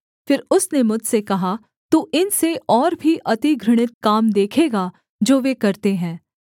फिर उसने मुझसे कहा तू इनसे और भी अति घृणित काम देखेगा जो वे करते हैं